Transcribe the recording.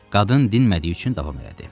Qadın dinmədiyi üçün davam elədi.